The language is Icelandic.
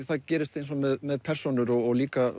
það gerist eins og með persónur og líka